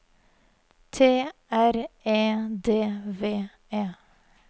T R E D V E